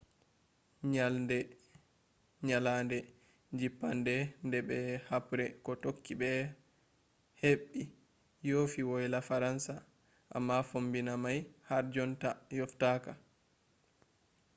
nyalade jippande nde be habre ko tokki be heɓɓi yofi woyla faransa. amma fombina mai har jonta yoftaka